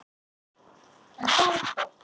En, hvað um það.